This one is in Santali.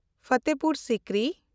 ᱯᱷᱟᱛᱮᱯᱩᱨ ᱥᱤᱠᱨᱤ